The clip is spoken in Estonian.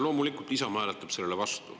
Loomulikult Isamaa hääletab sellele vastu.